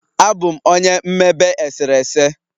Abụ m onye mmebe eserese.